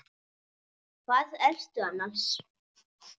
Hvar ertu annars?